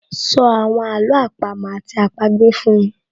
So àwọn àló àpamọ́ àti àpagbè fún mi